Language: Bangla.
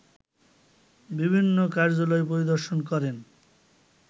বিভিন্ন কার্যালয় পরিদর্শন করেন